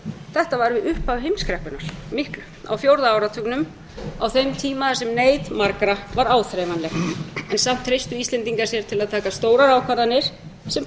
þetta var við upphaf heimskreppunnar miklu á fjórða áratugnum á þeim tíma þar sem neyð margra var áþreifanleg en samt treystu íslendingar sér til að taka stórar ákvarðanir sem báru vott